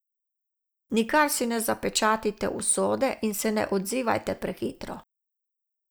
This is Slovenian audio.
Nikar si ne zapečatite usode in se ne odzivajte prehitro.